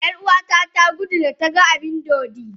Yar'uwata ta gudu, da ta ga abin dodi.